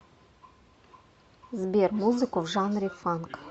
сбер музыку в жанре фанк